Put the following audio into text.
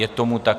Je tomu tak.